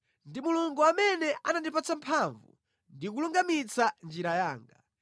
Ndi Mulungu amene anandipatsa mphamvu ndi kulungamitsa njira yanga.